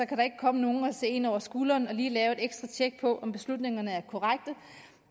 kan komme nogen og se en over skulderen og lige lave et ekstra tjek for at se om beslutningerne er korrekte